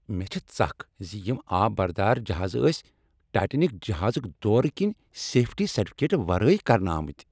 مےٚ چھےٚ ژکھ ز یم آب بردار جہازٕ ٲسۍ ٹایٹینک جہازک دورٕ کنہ سیفٹی سرٹیفکیٹس ورٲےکرنہ آمٕتۍ۔